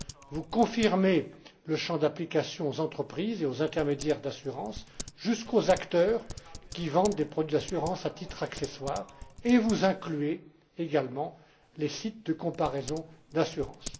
Vous confirmez l'extension du champ d'application aux entreprises et aux intermédiaires d'assurance, jusqu'aux acteurs qui vendent des produits d'assurance à titre accessoire, et vous incluez également les sites de comparaison d'assurances.